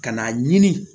Ka na ɲini